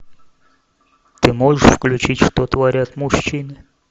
ты можешь включить что творят мужчины